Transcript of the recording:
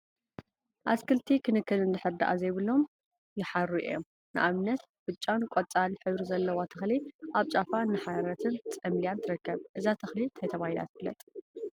አትክልቲ ክንክን እንድሕር ድአ ዘይብሎም ይሓሩ እዮም፡፡ ንአብነት ብጫን ቆፃል ሕብሪ ዘለዋ ተክሊ አብ ጫፋ እናሐረረትን ፀምሊያን ትርከብ፡፡ እዛ ተክሊ ታይ ተባሂላ ትፍለጥ?